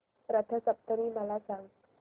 रथ सप्तमी मला सांग